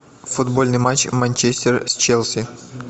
футбольный матч манчестер с челси